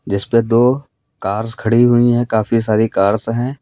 जिस पे दो कार्स खड़ी हुई है काफी सारी कार्स हैं।